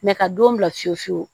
ka don bila fiyewu fiyewu